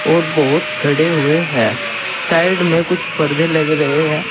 और बहुत खड़े हुए हैं साइड में कुछ परदे लग रहे हैं।